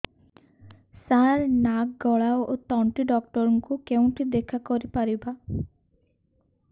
ସାର ନାକ ଗଳା ଓ ତଣ୍ଟି ଡକ୍ଟର ଙ୍କୁ କେଉଁଠି ଦେଖା କରିପାରିବା